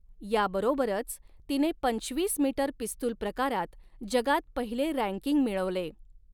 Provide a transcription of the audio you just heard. याबरोबरच तिने पंचवीस मीटर पिस्तूल प्रकारात जगात पहिले रँकिंग मिळवले.